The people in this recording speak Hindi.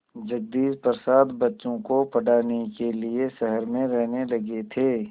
जगदीश प्रसाद बच्चों को पढ़ाने के लिए शहर में रहने लगे थे